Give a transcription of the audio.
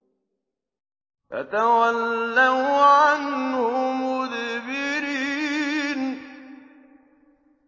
فَتَوَلَّوْا عَنْهُ مُدْبِرِينَ